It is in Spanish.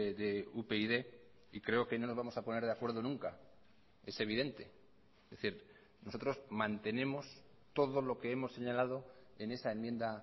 de upyd y creo que no nos vamos a poner de acuerdo nunca es evidente es decir nosotros mantenemos todo lo que hemos señalado en esa enmienda